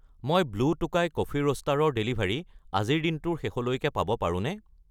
মই Blue Tokai Coffee Roaster ৰ delivery আজিৰ দিনটোৰ শেষলৈকে পাব পাৰোঁনে?